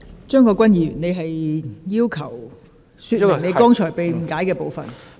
張國鈞議員，你是否要求澄清剛才發言被誤解的部分？